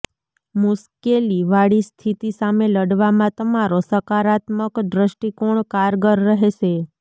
મુશ્કેલી વાળી સ્થિતિ સામે લડવામાં તમારો સકારાત્મક દ્રષ્ટિકોણ કારગર રહેશે